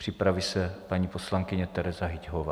Připraví se paní poslankyně Tereza Hyťhová.